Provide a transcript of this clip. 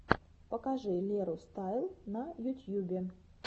покажи леру стайл на ютьюбе